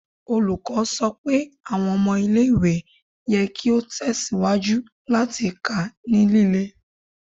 Olukọni sọ pe awọn ọmọ ile-iwe yẹ ki o tẹsiwaju lati ka ni lile